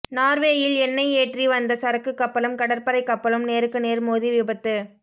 நார்வேயில் எண்ணெய் ஏற்றி வந்த சரக்கு கப்பலும் கடற்படை கப்பலும் நேருக்கு நேர் மோதி விபத்து